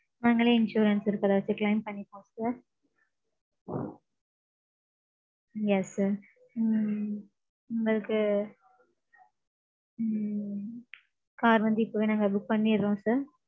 நாங்களே insurance இருக்கு அதே வச்சு claim பண்ணிக்குவோம் sir. Yes sir. ம்ம். உங்களுக்கு. ம்ம் car வந்து இப்போவே நாங்க book பண்ணிடறோம் sir